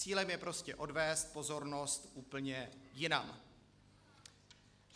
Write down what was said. Cílem je prostě odvést pozornost úplně jinam.